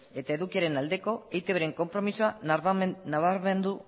eta edukiaren aldeko eitbren konpromisoa nabarmendu